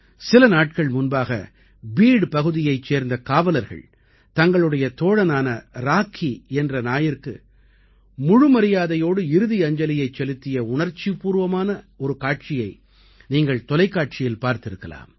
சில நாட்கள் முன்பாக பீட் பகுதியைச் சேர்ந்த காவலர்கள் தங்களுடைய தோழனான ராக்கி என்ற நாயிற்கு முழு மரியாதையோடு இறுதி அஞ்சலியைச் செலுத்திய உணர்ச்சிபூர்வமான ஒரு காட்சியை நீங்கள் தொலைக்காட்சியில் பார்த்திருக்கலாம்